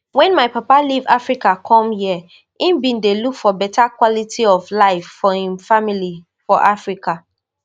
wen my papa leave africa come here im bin dey look for better quality of life for im family for africa